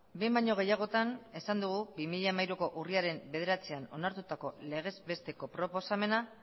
behin baino gehiagotan esan dugu bi mila hamairuko urriaren bederatzian onartutako legez besteko proposamena